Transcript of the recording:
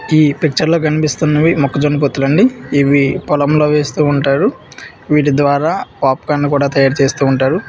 ఈ పిక్చర్ లో కనిపిస్తున్నవి మొక్కజొన్న పొత్తులు అండి ఇవి పొలంలో వేస్తూ ఉంటారు వీటి ద్వారా పాప్కార్న్ కూడా తయారు చేస్తూ ఉంటారు.